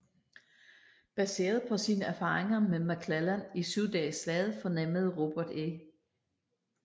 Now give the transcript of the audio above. Baseret på sine erfaringer med McClellan i Syv dages slaget fornemmede Robert E